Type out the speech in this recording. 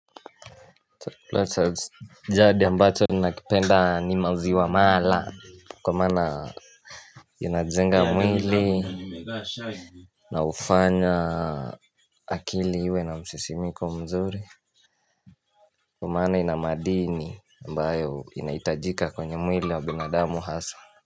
Jadi ambacho ni nakipenda ni maziwa mala kwa mana inajenga mwili na ufanya akili iwe na msisimiko mzuri Kwa mmana ina madini ambayo inaitajika kwenye mwili wa binadamu hasa.